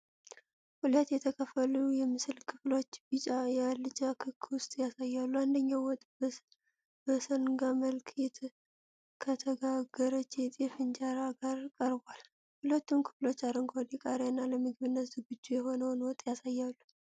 ሁለት የተከፈሉ የምስል ክፍሎች ቢጫ የአልጫ ክክ ወጥ ያሳያሉ። አንደኛው ወጥ በሰንጋ መልክ ከተጋገረች የጤፍ እንጀራ ጋር ቀርቧል። ሁለቱም ክፍሎች አረንጓዴ ቃሪያና ለምግብነት ዝግጁ የሆነውን ወጥ ያሳያሉ።